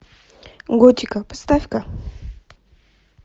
готика поставь ка